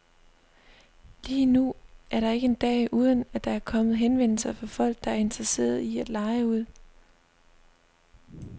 Lige nu er der ikke en dag, uden at der er kommet henvendelser fra folk, der er interesserede i at leje ud.